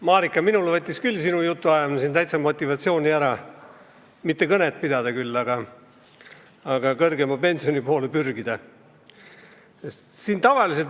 Marika, minult võttis küll sinu jutt täitsa motivatsiooni ära – mitte küll kõnet pidada, aga kõrgema pensioni poole pürgida.